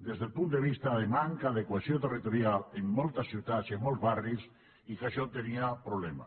des del punt de vista de manca de cohesió territorial en moltes ciutats i en molts barris i que això tenia problemes